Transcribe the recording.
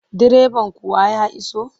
Direban kuwa ya iso?